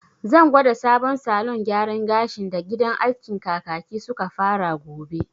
Zan gwada sabon salon gyaran gashin da gidan askin Kakaki suka fara gobe